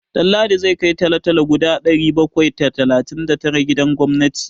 Ɗanladi zai kai talo-talo guda ɗari bakwai da talatin da tara gidan gwamnati.